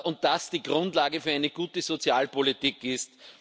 und das die Grundlage für eine gute Sozialpolitik ist.